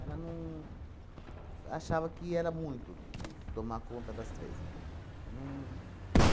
Ela não... Achava que era muito tomar conta das três. Não.